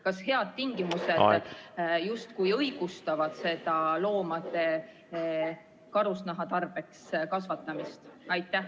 Kas head tingimused justkui õigustavad loomade karusnaha tarbeks kasvatamist?